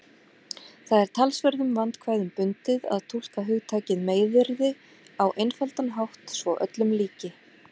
Það er talsverðum vandkvæðum bundið að túlka hugtakið meiðyrði á einfaldan hátt svo öllum líki.